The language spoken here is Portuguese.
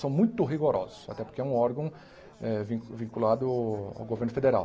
São muito rigorosos, até porque é um órgão eh vin vinculado ao governo federal.